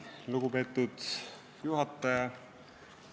Lugupeetud juhataja!